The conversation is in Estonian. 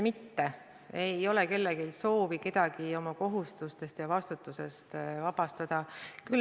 Kindlasti ei ole kellelgi soovi kedagi tema kohustustest ja vastutusest vabastada.